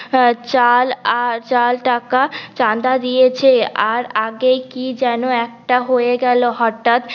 চাল আর চার টাকা চাঁদা দিয়েছ আর আগে কি যেন একটা হয়ে গেলো হঠাৎ